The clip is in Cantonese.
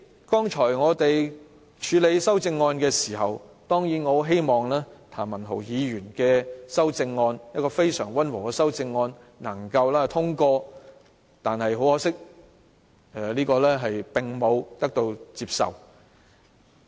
剛才我們處理修正案時，我很希望譚文豪議員那項非常溫和的修正案能夠通過，可惜並未獲得接納。